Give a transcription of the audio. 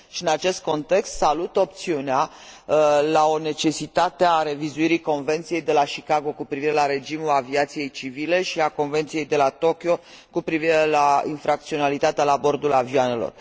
În acest context, salut opțiunea legată de necesitatea revizuirii Convenției de la Chicago cu privire la regimul aviației civile și a Convenției de la Tokyo cu privire la infracționalitatea la bordul avioanelor.